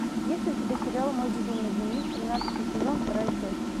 есть ли у тебя сериал мой безумный дневник тринадцатый сезон вторая часть